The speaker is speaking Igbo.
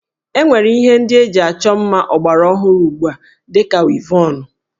E nwere Ihe ndị eji achọ mma ọgbara ọhụrụ ugbu a dị ka wivọnụ